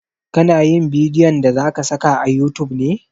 Ka na yin bidiyon da zaka saka a youtube ne?